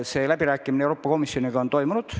Need läbirääkimised Euroopa Komisjoniga on toimunud.